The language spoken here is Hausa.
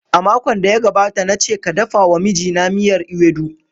A makon da ya gabata na ce ka dafa wa mijina miyar ewedu.